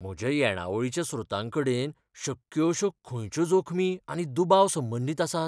म्हज्या येणावळीच्या स्रोतांकडेन शक्य अशो खंयच्यो जोखमी आनी दुबाव संबंदीत आसात?